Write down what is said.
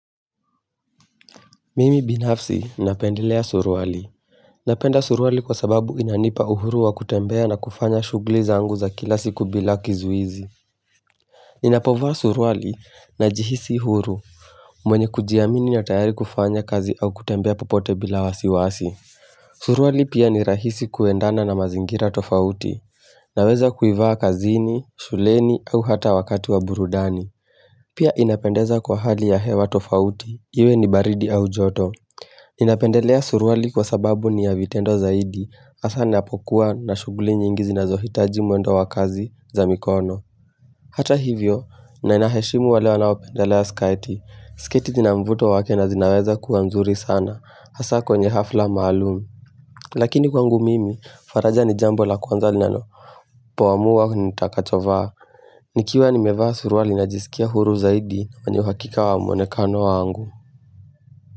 Mimi binafsi napendelea suruali. Napenda suruali kwa sababu inanipa uhuru wa kutembea na kufanya shughuli zangu za kila siku bila kizuizi. Ninapovaa suruali najihisi huru, mwenye kujiamini na tayari kufanya kazi au kutembea popote bila wasiwasi. Suruali pia ni rahisi kuendana na mazingira tofauti. Naweza kuivaa kazini, shuleni au hata wakati wa burudani. Pia inapendeza kwa hali ya hewa tofauti, iwe ni baridi au joto. Ninapendelea suruali kwa sababu ni vitendo zaidi hasa ninapokuwa na shughuli nyingi zinazohitaji mwendo wa kazi za mikono Hata hivyo, ninaheshimu wale wanaopendelea sketi. Sketi zinamvuto wake na zinaweza kuwa mzuri sana hasa kwenye hafla maalum Lakini kwangu mimi, faraja ni jambo la kwanza linalo po amua nitakachovaa nikiwa nimevaa suruali najisikia huru zaidi kwenye uhakika wamwonekano wangu.